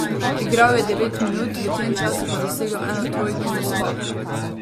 Igral je devet minut, v tem času pa dosegel eno trojko in skok.